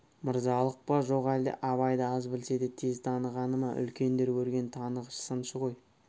мырзалық па жоқ әлде абайды аз білсе де тез танығаны ма үлкендер көрген танығыш сыншы ғой